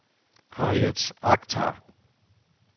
Harriet Akhtar